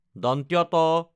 ত